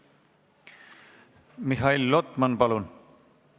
Mihhail Lotman, palun!